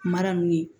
Mara nunnu ye